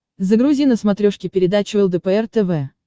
загрузи на смотрешке передачу лдпр тв